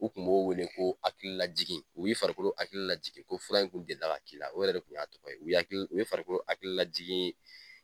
U tun b'o wele ko hakililajigin u ye farikolo hakili lajigin ko fura in tun delila ka k'i la o yɛrɛ de tun y'a tɔgɔ ye u ye farikolo hakililajigin